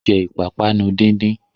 Jẹ́ ìpápánu díndín!